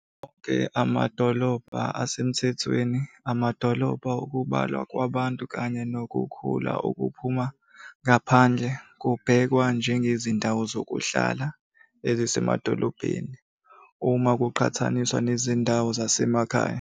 Onke amadolobha asemthethweni, amadolobha okubalwa kwabantu kanye nokukhula okuphuma ngaphandle kubhekwa njengezindawo zokuhlala ezisemadolobheni, uma kuqhathaniswa nezindawo zasemakhaya.